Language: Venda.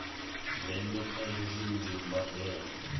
ndeme kha hezwi ndi mbandelo